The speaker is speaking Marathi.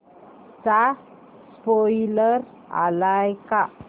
चा स्पोईलर आलाय का